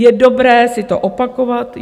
Je dobré si to opakovat.